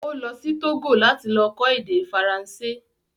Ó lọ sí Tógò láti lọ kọ́ èdè Faransé